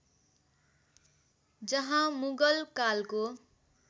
जहाँ मुगल कालको